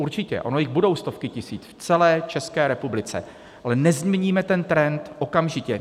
Určitě, ono jich budou stovky tisíc v celé České republice, ale nezměníme ten trend okamžitě.